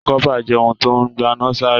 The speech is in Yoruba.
Kọpa jẹ ohun tó n gbana sara.